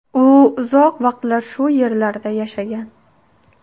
U uzoq vaqtlar shu yerlarda yashagan.